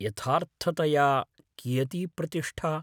यथार्थतया कियती प्रतिष्ठा।